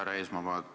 Härra Eesmaa!